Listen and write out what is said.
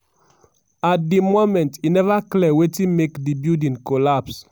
at di moment e neva clear wetin make di building collapse.